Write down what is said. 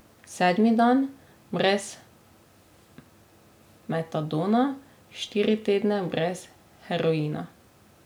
Sedmi dan brez metadona, štiri tedne brez heroina.